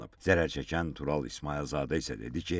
Zərər çəkən Tural İsmayılzadə isə dedi ki,